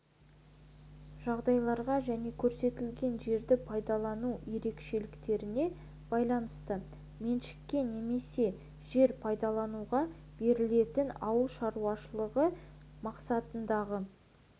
жағдайларға және көрсетілген жерді пайдалану ерекшеліктеріне байланысты меншікке немесе жер пайдалануға берілетін ауыл шаруашылығы мақсатындағы